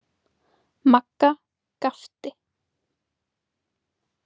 Magga gapti.